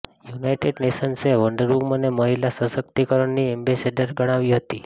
United નેશન્સે Wonder વુમનને મહિલા સશક્તિકરણની એમ્બેસેડર ગણાવી હતી